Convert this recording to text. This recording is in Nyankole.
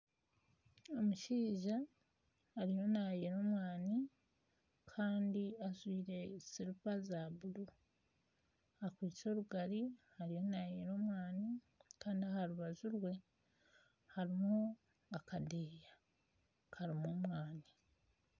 Omushaija ariyo naayera omwana kandi ajwire silipa za buru, akwitse orugari ariyo naayera omwani kandi aha rubaju rwe hariho akadeeya karimu omwani